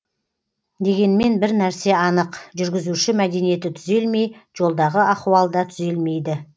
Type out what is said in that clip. дегенмен бір нәрсе анық жүргізуші мәдениеті түзелмей жолдағы ахуал да түзелмейді